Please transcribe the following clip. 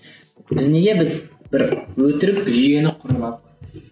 біз неге біз бір өтірік жүйені құрып алдық